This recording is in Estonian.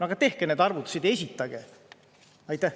Aga tehke need arvutused ja esitage!